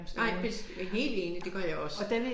Nej helt enig det gør jeg også